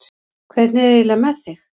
Hvernig er eiginlega með þig?